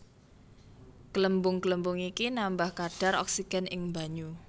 Glembung glembung iki nambah kadhar oksigen ing banyu